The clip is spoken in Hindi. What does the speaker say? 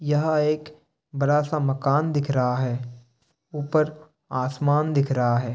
यह एक बड़ा सा मकान दिख रहा है। ऊपर आसमान दिख रहा है।